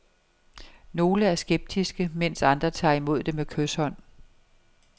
Nogle er skeptiske, mens andre tager imod med kyshånd.